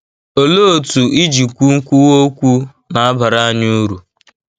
Olee otú ijikwu nkwuwa okwu na-abara anyị uru?